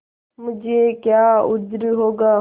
मुझे क्या उज्र होगा